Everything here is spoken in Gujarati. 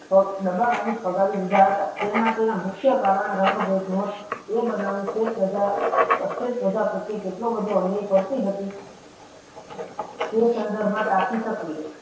ફગ ડાબા માંથી ફગાવી દીધા હતા તેમાં તેના મુખ્ય કારણ રંગ ભેદનું હતું એ બનાવનું સ્વેત પ્રજા અસ્વેત પ્રજા પ્રત્યે કેટલો બધો અન્યાય કરતી હતી તે સંદર્ભમાં તાકી સકી